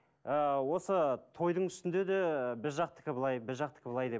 ыыы осы тойдың үстінде де біз жақтікі былай біз жақтікі былай деп